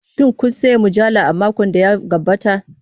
Shin kun sayi mujallar a makon da ya gabata?